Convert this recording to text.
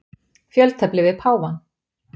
Fjöltefli við páfann.